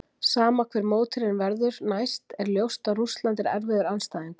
Sama hver mótherjinn verður næst er ljóst að Rússland er erfiður andstæðingur.